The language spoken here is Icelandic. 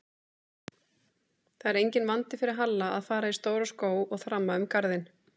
Það er enginn vandi fyrir Halla að fara í stóra skó og þramma um garðinn